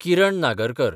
Kiran Nagarkar